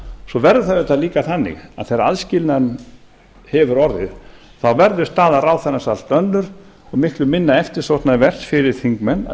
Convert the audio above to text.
svo verður það líka auðvitað þannig að þegar aðskilnaður hefur orðið þá verður staða ráðherrans allt önnur og miklu minna eftirsóknarvert fyrir þingmenn að